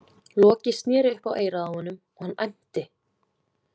Loki sneri upp á eyrað á honum og hann æmti.